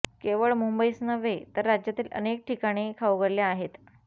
केवळ मुंबईच नव्हे तर राज्यातील अनेक ठिकाणी खाऊगल्ल्या आहेत